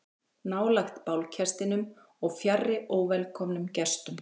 Nálægt bálkestinum og fjarri óvelkomnum gestum.